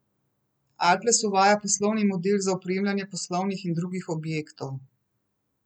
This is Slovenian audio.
Alples uvaja poslovni model za opremljanje poslovnih in drugih objektov.